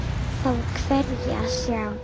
Þá er hvergi að sjá.